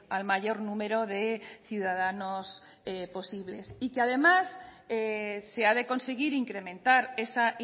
al mayor número de ciudadanos posibles y que además se ha de conseguir incrementar esa